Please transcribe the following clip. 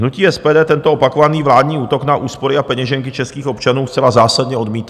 Hnutí SPD tento opakovaný vládní útok na úspory a peněženky českých občanů zcela zásadně odmítá.